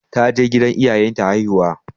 Ta je gidan iyayen ta haihuwa.